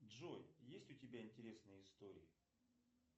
джой есть у тебя интересные истории